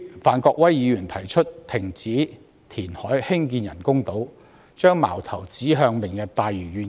范國威議員提出停止填海興建人工島，把矛頭指向"明日大嶼願景"。